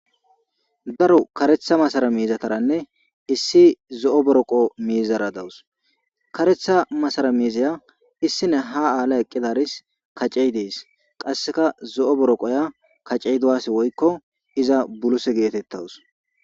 daro karetha masara miizataranne issi zo7o boroqo miizara dawus karetha masara miizaya issine ha aala eqqidaris kacey dees qasseka zo7o boroqoya kacey duwasi woykko iza buluse geetettawus